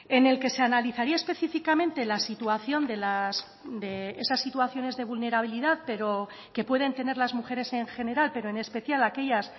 en el que se analizaría específicamente la situación de esas situaciones de vulnerabilidad pero que pueden tener las mujeres en general pero en especial aquellas